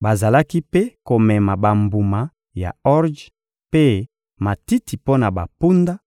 Bazalaki mpe komema bambuma ya orje mpe matiti mpo na bampunda,